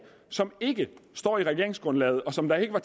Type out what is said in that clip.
som ikke står i regeringsgrundlaget og som der ikke var